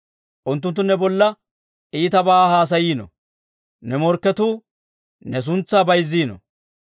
Unttunttu ne bolla iitabaa haasayiino; ne morkketuu ne suntsaa bayzziino.